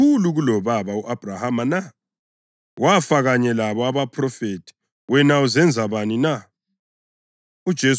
Wena umkhulu kulobaba u-Abhrahama na? Wafa, kanye labo abaphrofethi. Wena uzenza bani na?”